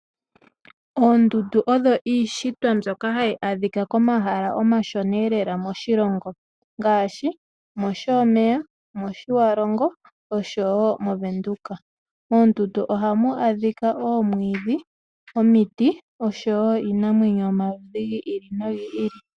Oondundu odho iishitwa mbyoka hayi adhikwa komahala omashona lela moshilongo ngashi, oshomeya, Otjiwarongo, osho wo moVenduka. Moondundu ohamu adhika wo omwiidhi, omiti osho wo iinamwenyo yomaludhi giili no giili.